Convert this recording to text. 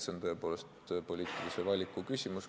See on tõepoolest poliitilise valiku küsimus.